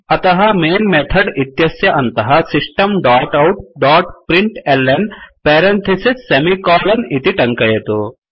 अतः main method इत्यस्य अन्तः system dot out dot println parentheses semi colon इति टङ्कयतु